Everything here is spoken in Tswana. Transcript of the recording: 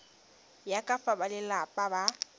ya ka fa balelapa ba